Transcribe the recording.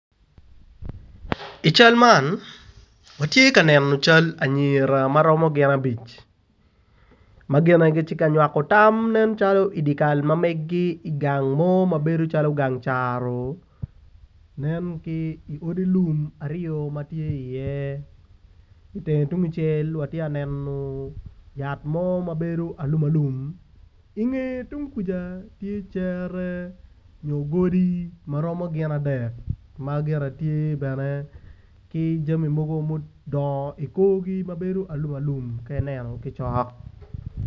I cal man ati ka neno cal anyira maromo gin abic ma gine ti ka nywako tam nen calo i dikal ma megi i gang mo ma bedo calo gang caro nen ki odi lum aryo ma tye i iye itenge tungucel wa tiya neno yat mo ma ti alum alum inge tung kuja tye cere onyo godi maromo gin adek ma gire tye bene ki jami mogo ma odongo i korgi mabedo alum alum ka ineno cokcok